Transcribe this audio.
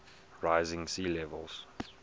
rising sea levels